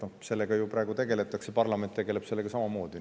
Sellega praegu tegeletakse, parlament tegeleb sellega samamoodi.